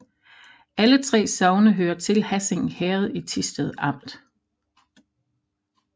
Alle 3 sogne hørte til Hassing Herred i Thisted Amt